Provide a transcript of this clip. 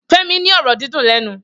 Femi ni ọrọ dìdún lẹnú